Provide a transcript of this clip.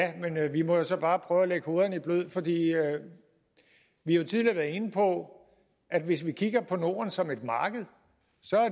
vi må så bare prøve at lægge hovederne i blød vi har jo tidligere været inde på at hvis vi kigger på norden som et marked